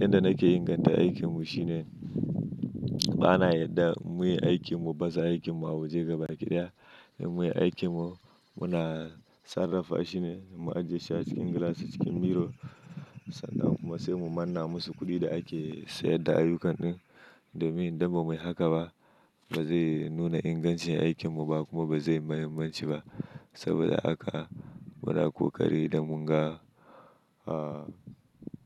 Yanda nake inganta aikinmu shine bana yarda muyi aikinmu, baza aikinmu a waje gabaɗaya. Dan muyi aikinmu muna sarrafa shine mu ajiyeshi cikin glasses cikin mirror sannan kuma sai mu manna musu kuɗi da ake sayarda ayyukan ɗin. Domin idan bamuyi haka ba bazai nuna ingancin aikinmu ba kuma bazai mahimmanci ba saboda haka muna ƙoƙari da munga, ah